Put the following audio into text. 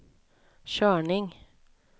körning